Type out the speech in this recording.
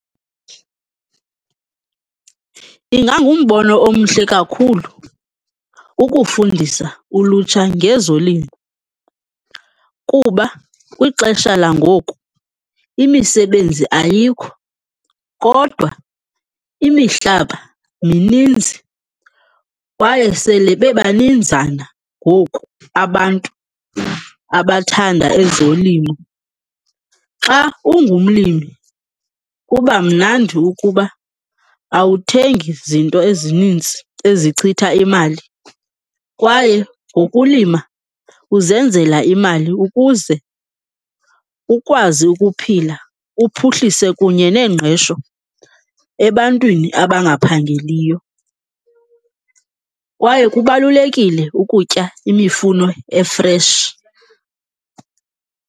Ingangumbono omhle kakhulu ukufundisa ulutsha ngezolimo kuba kwixesha langoku imisebenzi ayikho kodwa imihlaba mininzi kwaye sele beba ninzana abantu abathanda ezolimo. Xa ungumlimi, kuba mnandi ukuba awuthengi zinto ezininzi ezichitha imali kwaye ngokulima uzenzela imali ukuze ukwazi ukuphila, uphuhlise kunye neengqesho ebantwini abangaphangeliyo. Kwaye kubalulekile ukutya imifuno e-fresh.